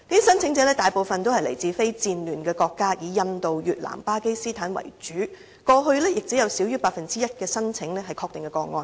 申請者大部分來自非戰亂國家，以印度、越南和巴基斯坦為主，過去亦只有少於 1% 的申請為確定個案。